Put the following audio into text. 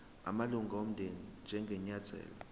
amalunga omndeni njengenyathelo